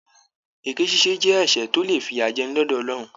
Èké ṣíṣe jẹ ẹsẹ tó le fiyajẹni lọdọ Ọlọrun.